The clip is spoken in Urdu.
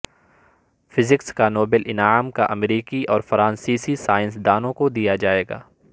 فزکس کا نوبیل انعام کا امریکی اور فرانسیسی سائنس دانوں کو دیا جائے گا